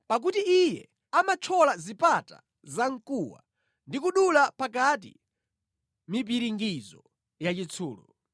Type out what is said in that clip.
pakuti Iye amathyola zipata zamkuwa ndi kudula pakati mipiringidzo yachitsulo.